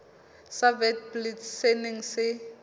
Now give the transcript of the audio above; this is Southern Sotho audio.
sa witblits se neng se